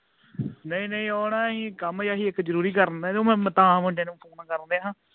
ਨਹੀਂ ਨਹੀਂ ਓਹਨਾ ਅਸੀਂ ਇਹ ਕੰਮ ਜੇਹਾ ਸੀ ਜ਼ਰੂਰੀ ਕਰਨ ਡਹੇ ਮੂੰਡੇ ਨੂੰ phone ਕਰਨ ਡਿਆ ਹਾਂ